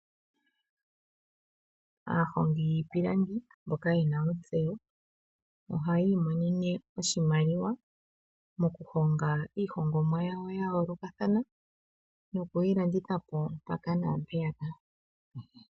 Aahongi yiipilangi mboka yena otseyo ohayii monene oshimaliwa moku honga iihongomwa yawo yayoolokathana, nokuyi landitha po mpaka naampeyaka.